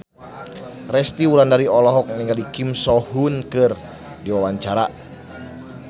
Resty Wulandari olohok ningali Kim So Hyun keur diwawancara